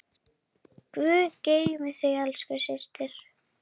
Guð geymi þig elsku systir.